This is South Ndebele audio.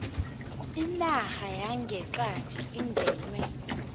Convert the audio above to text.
inarha yangeqadi ingenwe